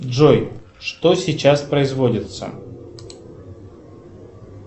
джой что сейчас производится